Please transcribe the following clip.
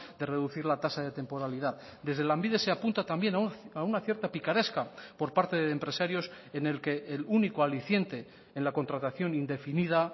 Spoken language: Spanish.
de reducir la tasa de temporalidad desde lanbide se apunta también a una cierta picaresca por parte de empresarios en el que el único aliciente en la contratación indefinida